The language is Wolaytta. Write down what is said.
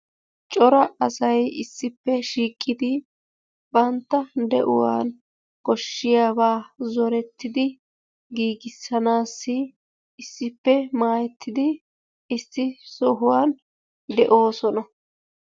Cora asay issippe shiiqidi bantta de'uwan koshiyaaba zooretidi giigisanassi issippe maayyetidi issi sohuwan de'oosona.